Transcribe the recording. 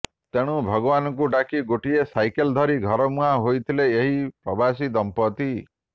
ତେଣୁ ଭଗବାନଙ୍କୁ ଡାକି ଗୋଟିଏ ସାଇକେଲ୍ ଧରି ଘରମୁହାଁ ହୋଇଥିଲେ ଏହି ପ୍ରବାସୀ ଦମ୍ପତି